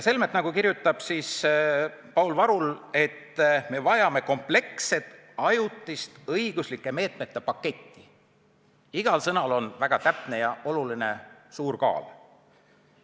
Selle asemel, nagu kirjutab Paul Varul, vajame me kompleksset ajutist õiguslike meetmete paketti, kus iga sõna oleks väga täpne ja oluline ning suure kaaluga.